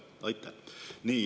Nii.